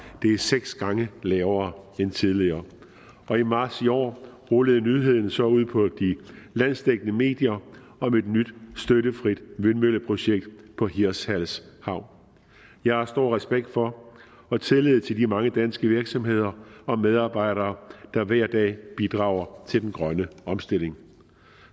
det er seks gange lavere end tidligere og i marts i år rullede nyheden så ud på de landsdækkende medier om et nyt støttefrit vindmølleprojekt på hirtshals havn jeg har stor respekt for og tillid til de mange danske virksomheder og medarbejdere der hver dag bidrager til den grønne omstilling